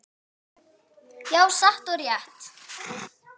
Já, satt og rétt.